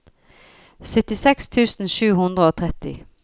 syttiseks tusen sju hundre og tretti